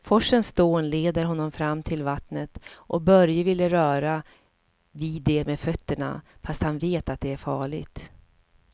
Forsens dån leder honom fram till vattnet och Börje vill röra vid det med fötterna, fast han vet att det är farligt.